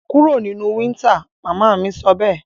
Kúro nínú winter! mama mí sọbẹ́ẹ̀